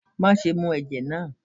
ma sẹ mù ẹjẹ náá!